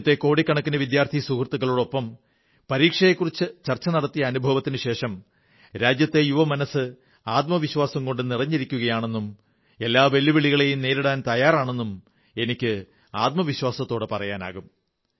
രാജ്യത്തെ കോടിക്കണക്കിന് വിദ്യാർഥി സുഹൃത്തുക്കൾക്കൊപ്പം പരീക്ഷയെക്കുറിച്ച് ചർച്ച നടത്തിയ അനുഭവത്തിനുശേഷം രാജ്യത്തെ യുവമനസ്സ് ആത്മവിശ്വാസം കൊണ്ട് നിറഞ്ഞിരിക്കയാണെന്നും എല്ലാ വെല്ലുവിളികളെയും നേരിടാൻ തയ്യാറാണെന്നും എനിക്ക് വിശ്വാസത്തോടെ പറയാനാകും